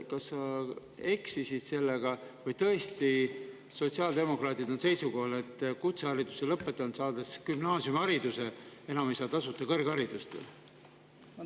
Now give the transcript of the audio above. Kas sa eksisid sellega või on tõesti sotsiaaldemokraadid seisukohal, et kutsehariduse, kui ta on saanud gümnaasiumihariduse, enam ei saa tasuta kõrgharidust?